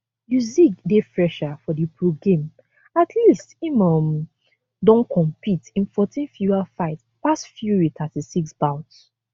usyk dey fresher for di pro game at least im um don compet in 14 fewer fights pass fury 36 bouts